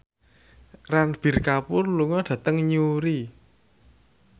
Ranbir Kapoor lunga dhateng Newry